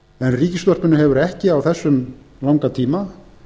en ríkisútvarpinu hefur ekki á þessum langa tíma